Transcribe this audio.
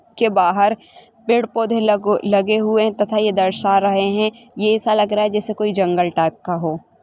के बहार पैड पौधे लगो लगे हुए तथा ये दर्शा रहे है ये ऐसा लग रहा जेसा कोई जंगल टाइप का हो।